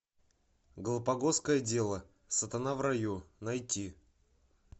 галапагосское дело сатана в раю найти